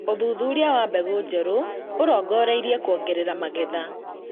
ũthuthuria wa mbegũ njerũ ũrongoreirie kũongerera magetha